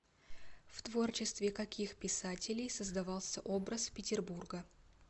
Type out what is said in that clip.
в творчестве каких писателей создавался образ петербурга